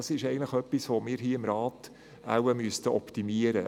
Das sollten wir hier im Rat optimieren.